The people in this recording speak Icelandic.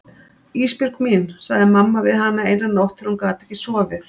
Ísbjörg mín, sagði mamma við hana eina nótt þegar hún gat ekki sofið.